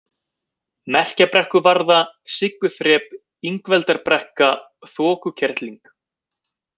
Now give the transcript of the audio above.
Merkjabrekkuvarða, Sigguþrep, Ingveldarbrekka, Þokukerling